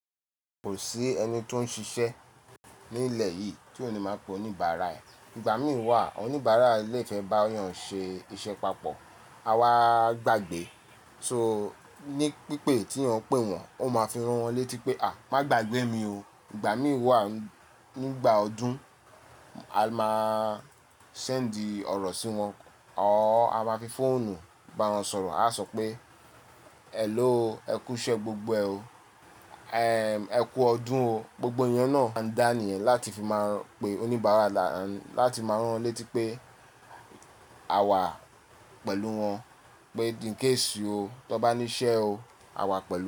Kò sí ẹni tó ń ṣiṣẹ́ ní ilẹ̀ yìí tí òní máa pe oníbàárà ẹ̀. Ìgbà mìí wà, oníbàárà lè fẹ́ bá yọ̀ń ṣe iṣẹ́ papọ̀. A wáá gbàgbé. So ní pípé tí eyan pè wọ́n, ọ máa fi rán wọ́n létí pé "à, má gbagbẹ́ mi o". Ìgbà mìí wà, nígbà ọdún, a máa sẹ́ǹdì ọ̀rọ̀ sí wọn o, a máa fi fóònù bá wọn sọ̀rọ̀. A áa sọ pé, "hello, ẹ kú iṣẹ́ gbogbo ẹ o, ẹm ẹ kú ọdún o". Gbogbo iyen náà ń dáni yẹ̀n láti fi máa pe oníbàárà láti máa rán rọ́n létí pé a wà pẹ̀lú wọn pé incase o, tó bá ní iṣẹ́ o, a wà pẹ̀lú won.